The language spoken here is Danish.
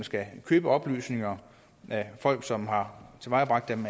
skal købe oplysninger af folk som har tilvejebragt dem